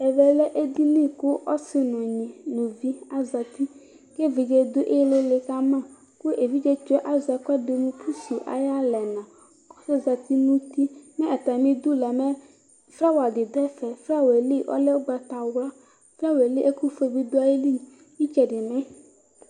Ɛvɛ lɛ edinyi ku ɔsi nu unyi zati evidze du ili kama ayu alɛna ku evidze tsɔ ye azɛ ɛkɛdi mu pusu ayalɛna kɔzati nu uti mɛ atamidu flawadi du ɛfɛ flawalɛ li ɔlɛ ugbatawla flawa yɛli ɛkufue di dayili itsɛdi mɛ